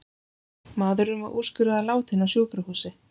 Maðurinn var úrskurðaður látinn á sjúkrahúsi